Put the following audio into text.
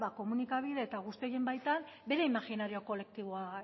komunikabide eta guzti horien baitan bere imajinari kolektiboa